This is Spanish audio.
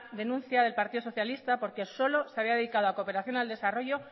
denuncia del partido socialista porque solo se había dedicado a cooperación al desarrollo